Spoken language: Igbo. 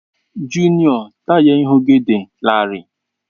Junio, taya ihu gị dị larịị.